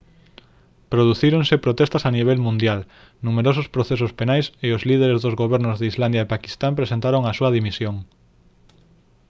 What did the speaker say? producíronse protestas a nivel mundial numerosos procesos penais e os líderes dos gobernos de islandia e paquistán presentaron a súa dimisión